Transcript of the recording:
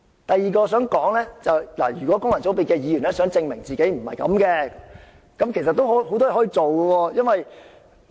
第二點，如果功能界別的議員想證明自己並非如此，其實也有很多事情可以做到。